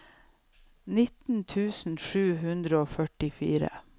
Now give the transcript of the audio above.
nitten tusen sju hundre og førtifire